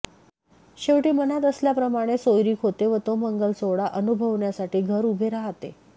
शेवटी मनात असल्या प्रमाणे सोयरिक होते व तो मंगल सोहळा अनुभवण्यासाठी घर उभे राहतेे